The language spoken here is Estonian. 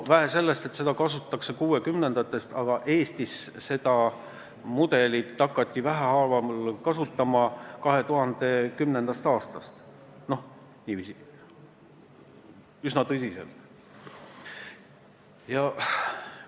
Vähe sellest, et seda kasutatakse kuuekümnendatest aastatest alates, aga Eestis hakati seda mudelit 2010. aastast alates vähehaaval üsna tõsiselt kasutama.